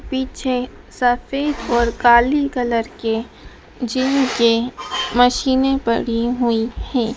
पीछे सफेद और काली कलर के जिम के मशीनें पड़ी हुई हैं।